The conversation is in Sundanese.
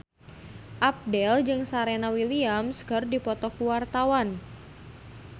Abdel jeung Serena Williams keur dipoto ku wartawan